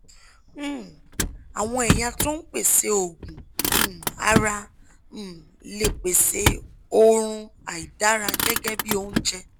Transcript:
um àwọn ẹ̀yà tó ń pèsè òógùn um ara um lè pèsè òórùn àìdára gẹ́gẹ́ bí oúnjẹ